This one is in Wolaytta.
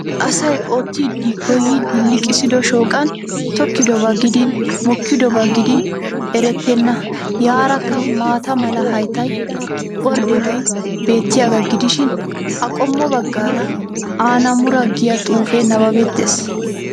Asay oottidi goyyid liiqissido shooqaan tokkidobaa gidin mokkidabaa gidin eretenna yarakka maata mala haytta ordebay bettiyaagaa gidishshin a qommo bagaara annamura giya xuufee nababettees.